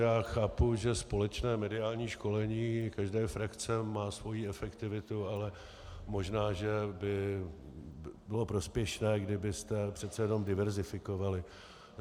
Já chápu, že společné mediální školení každé frakce má svoji efektivitu, ale možná že by bylo prospěšné, kdybyste přece jenom diverzifikovali.